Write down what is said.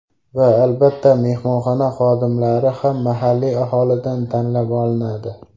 Va, albatta, mehmonxona xodimlari ham mahalliy aholidan tanlab olinadi.